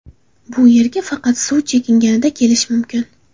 Bu yerga faqat suv chekinganida kelish mumkin.